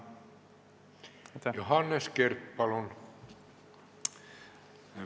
Johannes Kert, palun!